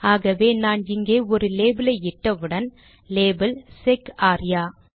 ஆகவே நான் இங்கே ஒரு லேபிலை இட்டவுடன் லேபல் - செக் ஆர்யா